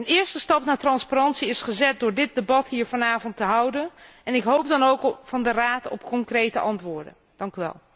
Een eerste stap naar transparantie is gezet door dit debat hier vanavond te houden en ik hoop dan ook dat de Raad met concrete antwoorden zal komen.